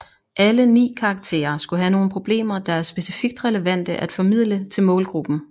Alle 9 karakterer skulle have nogle problemer der er specifikt relevante at formidle til målgruppen